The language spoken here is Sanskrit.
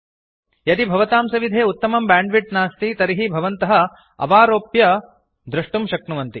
यदि भवतां सविधे उत्तमं ब्याण्ड् विड्त् नास्ति तर्हि भवन्तः अवारोप्यडौन्लोड् कृत्वा द्रष्टुम् अर्हन्ति